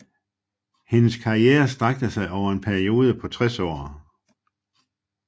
Hendes karriere strakte sig over en periode på 60 år